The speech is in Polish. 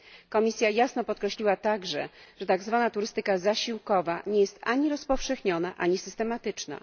Komisja jasno podkreśliła także, że tak zwana turystyka zasiłkowa nie jest ani rozpowszechniona, ani systematyczna.